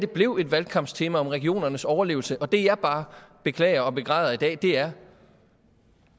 blev et valgkampstema om regionernes overlevelse det jeg bare beklager og begræder i dag er